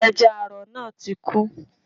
Ẹja àrọ̀ náà ti kú